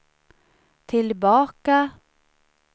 tillbaka